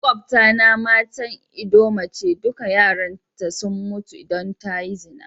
Maƙwabta na matan ldoma ce, dukan yaran ta sun mutu dan ta yi zina.